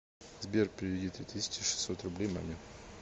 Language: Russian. сбер переведи три тысячи шестьсот рублей маме